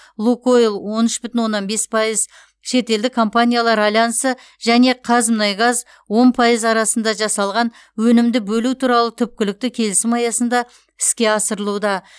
лукойл он үш бүтін оннан бес пайыз шетелдік компаниялар альянсы және қазмұнайгаз он пайыз арасында жасалған өнімді бөлу туралы түпкілікті келісім аясында іске асырылуда